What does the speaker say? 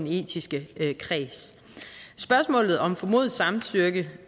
i etisk kreds spørgsmålet om formodet samtykke